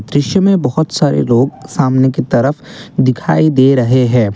दृश्य में बहोत सारे लोग सामने की तरफ दिखाई दे रहे हैं।